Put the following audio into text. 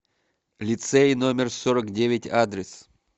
лицей номер сорок девять адрес